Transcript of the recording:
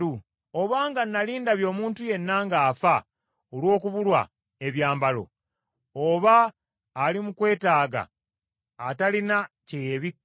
Obanga nnali ndabye omuntu yenna ng’afa olw’okubulwa ebyambalo, oba ali mu kwetaaga atalina kye yeebikka;